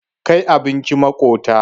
Kai abincin maƙota.